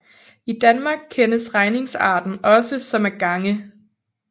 I Danmark kendes regningsarten også som at gange